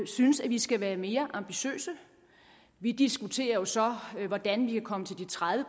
synes at vi skal være mere ambitiøse vi diskuterer jo så hvordan vi kan komme til de tredive